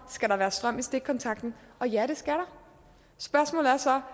skal være strøm i stikkontakten og ja det skal der spørgsmålet er så